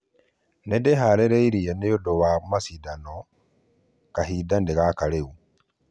"Nĩndĩharĩrie nĩunda wa mashidano, kahinda nĩ gaka rĩu